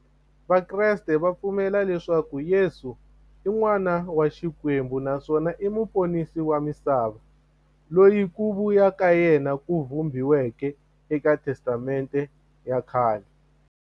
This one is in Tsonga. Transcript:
Vakreste va pfumela leswaku Yesu i n'wana wa Xikwembu naswona i muponisi wa misava, loyi ku vuya ka yena ku vhumbiweke eka Testamente ya khale.